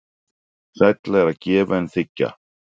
Sælla er að gefa en þiggja.